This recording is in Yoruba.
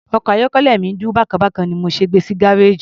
Ọkọ̀ ayọ́kẹ́lẹ́ mi ń dún bákan bákan ni mo ṣe gbe sí gárèjì.